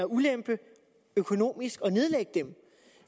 ulempe økonomisk at nedlægge dem